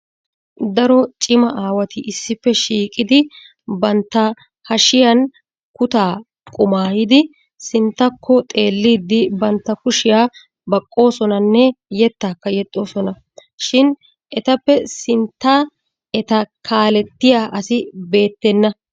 Daro cima aawati issippe shiiqidi bantta hashshiyaan kuttaa qumayyidi sinttakko xeellidi bantta kushiyaa baqqoosonanne yettakka yexxoosona. Shin etappe sintta eta kaaletiya asi beettena.